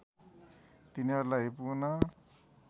तिनीहरूलाई पुन